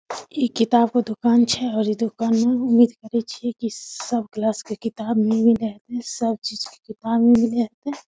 ई किताब के दुकान छे और ई दुकान में उम्मीद करी छी की सब क्लास के किताब मिल जाए सब चीज के किताब मिल जाएते।